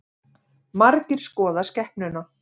Margir skoða skepnuna